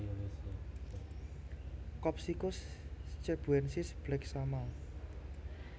Copsychus cebuensis Black Shama